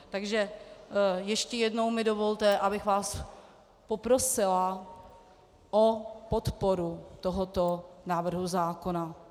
Takže ještě jednou mi dovolte, abych vás poprosila o podporu tohoto návrhu zákona.